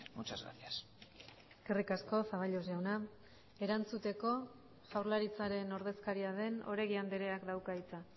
muchas gracias eskerrik asko zaballos jauna erantzuteko jaurlaritzaren ordezkaria den oregi andreak dauka hitza